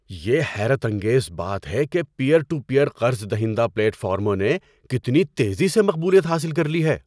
یہ حیرت انگیز بات ہے کہ پیئر ٹو پیئر قرض دہندہ پلیٹ فارموں نے کتنی تیزی سے مقبولیت حاصل کر لی ہے۔